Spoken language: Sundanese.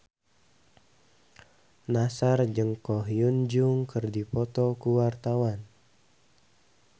Nassar jeung Ko Hyun Jung keur dipoto ku wartawan